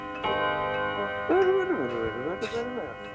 Það veldur meira vinnutapi en flestir eða allir aðrir sjúkdómar.